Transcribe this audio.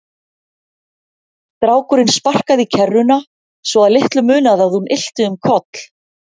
Strákurinn sparkaði í kerruna svo að litlu munaði að hún ylti um koll.